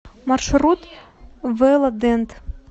маршрут вэладент